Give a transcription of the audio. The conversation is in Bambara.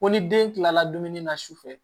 Ko ni den kilala dumuni na su fɛ